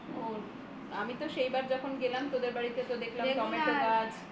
ও আমি তো সেইবার যখন গেলাম তোদের বাড়িতে দেখলাম টমেটো গাছ